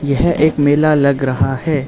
यह एक मेला लग रहा है।